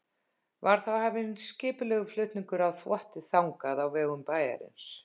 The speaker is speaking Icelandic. Var þá hafinn skipulegur flutningur á þvotti þangað á vegum bæjarins.